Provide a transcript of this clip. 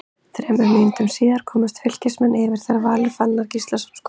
Þremur mínútum síðar komust Fylkismenn yfir þegar Valur Fannar Gíslason skoraði.